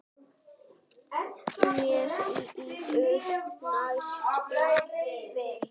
Mér líður næstum vel.